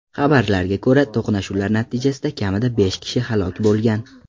Xabarlarga ko‘ra, to‘qnashuvlar natijasida kamida besh kishi halok bo‘lgan.